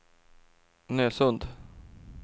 Nösund